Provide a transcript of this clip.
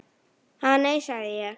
Ha, nei, sagði ég.